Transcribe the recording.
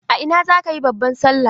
A ina zaka yi babban Sallah?